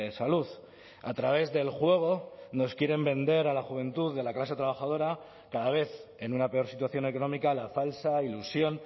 salud a través del juego nos quieren vender a la juventud de la clase trabajadora cada vez en una peor situación económica la falsa ilusión